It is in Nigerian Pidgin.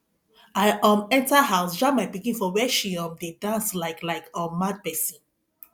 i um enter house jam my pikin for where she um dey dance like like um mad person